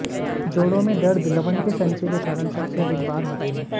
जोड़ों में दर्द लवण के संचय के कारण सबसे अधिक बार होते हैं